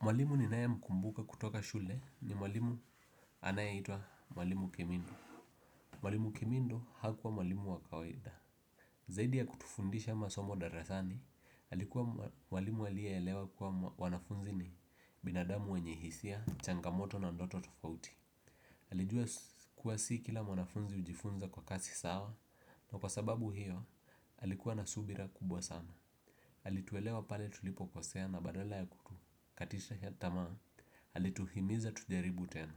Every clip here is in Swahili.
Mwalimu ninayemkumbuka kutoka shule ni mwalimu anayeitwa mwalimu Kemino. Mwalimu kimindo hakuwa mwalimu wa kawaida. Zaidi ya kutufundisha masomo darasani, alikuwa mwalimu aliyeelewa kuwa wanafunzi ni binadamu wenye hisia, changamoto na ndoto tofauti alijua kuwa si kila wanafunzi hujifunza kwa kasi sawa na kwa sababu hiyo alikuwa na subira kubwa sana alituelewa pale tulipo kosea na badala ya kutukatisha tamaa alituhimiza tujaribu tena.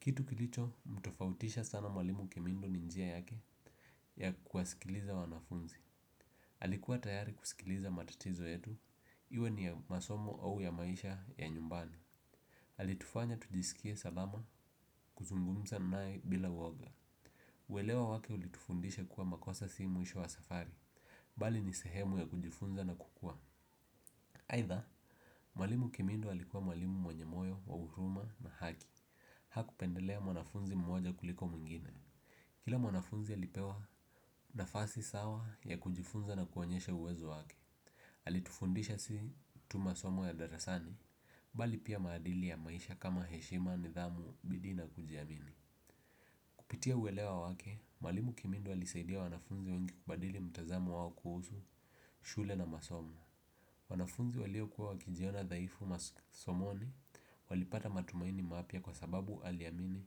Kitu kilicho mtofautisha sana mwalimu kemindo ni njia yake ya kuwasikiliza wanafunzi alikuwa tayari kusikiliza matatizo yetu, iwe ni ya masomo au ya maisha ya nyumbani alitufanya tujisikie salama kuzungumza naye bila woga uelewa wake ulitufundisha kuwa makosa simu mwisho wa safari, bali ni sehemu ya kujifunza na kukua. Aidha, mwalimu kemindo alikuwa mwalimu mwenye moyo, wa huruma na haki. Hakupendelea mwanafunzi mmoja kuliko mwingine. Kila mwanafunzi alipewa nafasi sawa ya kujifunza na kuonyesha uwezo wake alitufundisha si tu masomo ya darasani bali pia maadili ya maisha kama heshima, nidhamu, bidii na kujiamini kupitia uelewa wake, mwalimu kimindu alisaidia mwanafunzi wengi kubadili mtazamo wao kuhusu shule na masomo. Wanafunzi walio kuwa wakijiona dhaifu masomoni walipata matumaini mapya kwa sababu aliamini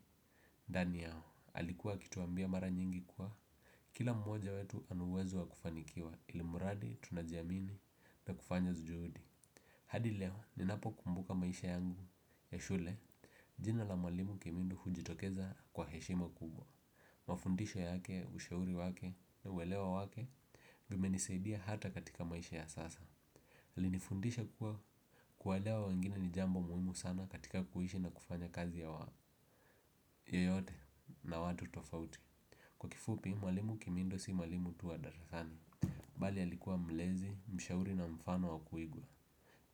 ndani yao, alikuwa akituambia mara nyingi kuwa kila mmoja wetu ana uwezo wa kufanikiwa ilimradi tunajiamini na kufanya juhudi. Hadi leo ninapo kumbuka maisha yangu ya shule jina la mwalimu Kimindu hujitokeza kwa heshima kubwa. Mafundisho yake ushauri wake na uelewa wake vimenisaidia hata katika maisha ya sasa. Alinifundisha kuwa kuwaelewa wengine ni jambo muhimu sana katika kuishi na kufanya kazi yoyote na watu tofauti. Kwa kifupi, mwalimu kimindo si mwalimu tu wa darasani bali alikuwa mlezi, mshauri na mfano wa kuigwa.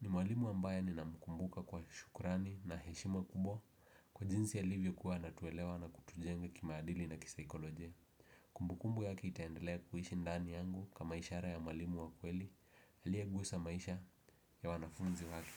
Ni mwalimu ambaye nin mkumbuka kwa shukurani na heshima kubwa. Kwa jinsi alivyo kuwa anatuwelewa na kutujenga kimaadili na kisaikolojia. Kumbukumbu yake itaendelea kuishi ndani yangu kama ishara ya mwalimu wa kweli aliyegusa maisha ya wanafunzi wake.